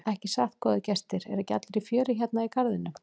Ekki satt góðir gestir, eru ekki allir í fjöri hérna í garðinum?